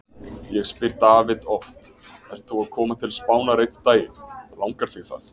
Ég spyr David oft: Ert þú að koma til Spánar einn daginn, langar þig það?